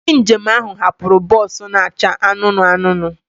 Ndị njem ahụ hapụrụ bọs na-acha anụnụ anụnụ.